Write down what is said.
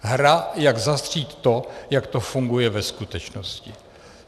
Hra, jak zastřít to, jak to funguje ve skutečnosti.